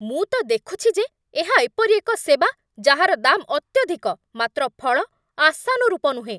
ମୁଁ ତ ଦେଖୁଛି ଯେ ଏହା ଏପରି ଏକ ସେବା ଯାହାର ଦାମ୍ ଅତ୍ୟଧିକ ମାତ୍ର ଫଳ ଆଶାନୁରୂପ ନୁହେଁ।